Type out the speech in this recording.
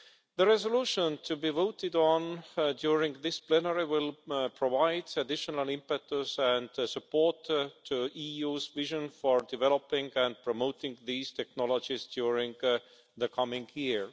The resolution to be voted on during this plenary will provide additional impetus and support to the EU's vision for developing and promoting these technologies during the coming year.